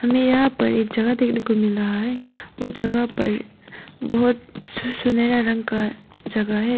हमे यहां पर एक जगह देखने को मिल रहा है वो जगह पर बहोत सुनहरा रंग का जगह है।